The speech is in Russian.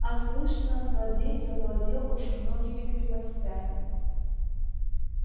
а слышно злодей завладел уж многими крепостями